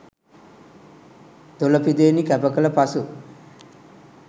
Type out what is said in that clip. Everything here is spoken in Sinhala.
දොළ පිදේනි කැප කළ පසු